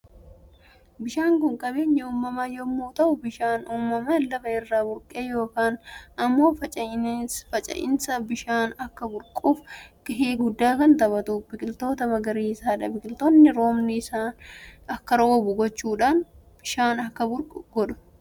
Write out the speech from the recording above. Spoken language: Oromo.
Bishaan Kun qabeenya uumama yommuu ta'u bishaan uumaman lafa irra burqe yookaan immoo finca'aadhs bishaan Akka burquuf gahee guddaa kan tabatu biqiltoota magariisaadha. Biqiltoonni roobni akka roobu gochuudhaan bishaan akka burqu godhu.